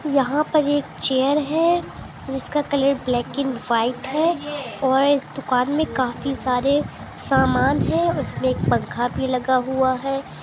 यहां पर एक चेयर है जिसका कलर ब्लै एंड वाइट है और इस दुकान में काफी सार समान है इसमें एक पंखा भी लगा हुआ है।